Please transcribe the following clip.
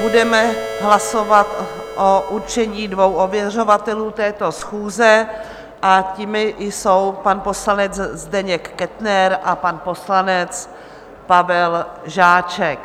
Budeme hlasovat o určení dvou ověřovatelů této schůze a těmi jsou pan poslanec Zdeněk Kettner a pan poslanec Pavel Žáček.